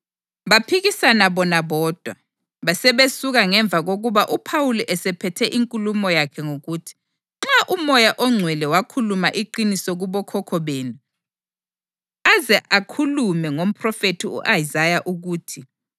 Baphikisana bona bodwa basebesuka ngemva kokuba uPhawuli esephethe inkulumo yakhe ngokuthi, “Nxa uMoya oNgcwele wakhuluma iqiniso kubokhokho benu aze ukhulume ngomphrofethi u-Isaya ukuthi: